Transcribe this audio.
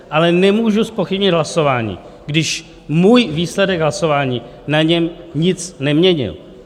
Ale nemůžu zpochybnit hlasování, když můj výsledek hlasování na něm nic neměnil.